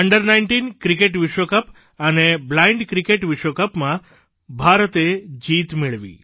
અંડર19 cricket વિશ્વ cup અને blind cricket વિશ્વકપમાં ભારતે જીત મેળવી